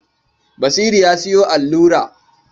Basiru ya sayo allura.